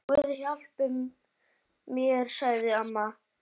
Guð hjálpi mér, sagði amma.